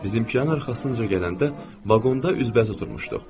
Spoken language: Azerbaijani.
Bizim qatın arxasınca gələndə vaqonda üzbəüz oturmuşduq.